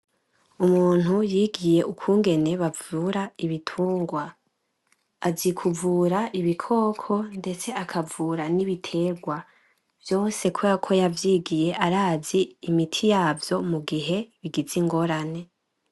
Umuntu yigiye ukungene bavura ibitungwa azi kuvura ikikoko ndetse akavura N’ibiterwa , vyose kuberako yavyigiye arazi imiti yavyo mugihe bigize ingorane.